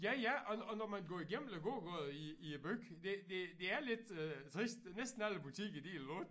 Ja ja og og når man går igennem æ gågade i i æ by det det det er lidt øh trist næsten alle butikker de er lukket